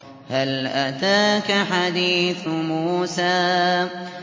هَلْ أَتَاكَ حَدِيثُ مُوسَىٰ